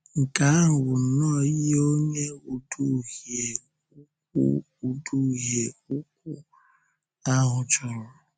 Nke ahụ bụ nnọọ ihe Onye Ùdùhìe ukwu Ùdùhìe ukwu ahụ chọrọ!